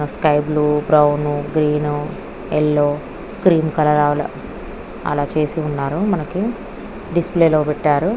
Sky blue brown green yellow cream colour అలా చేసి ఉన్నారు మనకి డిస్ప్లే లో పెట్టారు.